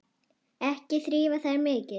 Ekki þrífa þær mikið.